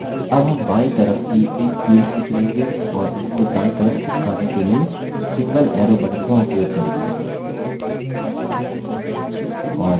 अब हम बायीं तरफ की इन fields को चुनेंगे और इनको दायीं तरफ खिसकाने के लिए single arrow button का उपयोग करेंगे